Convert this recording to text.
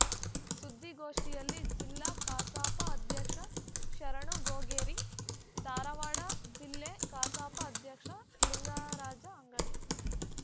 ಸುದ್ದಿಗೋಷ್ಠಿಯಲ್ಲಿ ಜಿಲ್ಲಾ ಕಸಾಪ ಅಧ್ಯಕ್ಷ ಶರಣು ಗೊಗೇರಿ ಧಾರವಾಡ ಜಿಲ್ಲೆ ಕಸಾಪ ಅಧ್ಯಕ್ಷ ಲಿಂಗರಾಜ ಅಂಗಡಿ